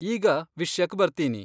ಈಗ ವಿಷ್ಯಕ್ ಬರ್ತೀನಿ.